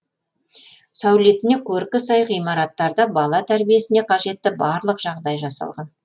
сәулетіне көркі сай ғимараттарда бала тәрбиесіне қажетті барлық жағдай жасалған